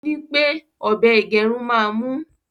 òní pé ọbẹ igerun má mú.